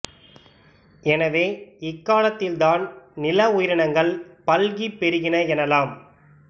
எனவே இக்காலத்தில் தான் நில உயிரினங்கள் பல்கிப் பெருகின எனலாம்